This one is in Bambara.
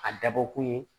A dabɔkun ye